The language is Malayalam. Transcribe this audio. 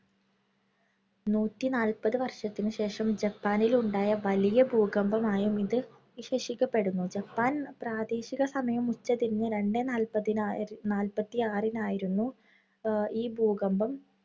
നൂറ്റിനാല്പത് വർഷത്തിനു ശേഷം ജപ്പാനിൽ ഉണ്ടായ വലിയ ഭൂകമ്പം ആയും ഇത് വിശേഷിക്കപ്പെടുന്നു. ജപ്പാൻ പ്രാദേശിക സമയം ഉച്ച തിരിഞ്ഞ് രണ്ട് നാല്‍പ്പതിനായി നാല്‍പ്പത്തിയാറിന് ആയിരുന്നു ഈ ഭൂകമ്പം.